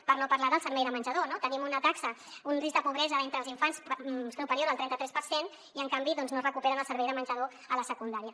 per no parlar del servei de menjador no tenim una taxa un risc de pobresa d’entre els infants superior al trenta tres per cent i en canvi doncs no recuperen el servei de menjador a la secundària